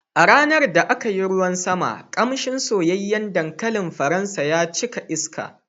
A ranar da aka yi ruwan sama, ƙamshin soyayyen dankalin faransa ya cika iska.